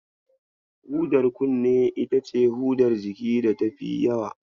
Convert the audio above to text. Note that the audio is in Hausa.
Hudar kunne ita ce hudar jiki da tafi yawa.